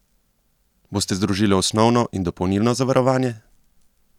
Boste združili osnovno in dopolnilno zavarovanje?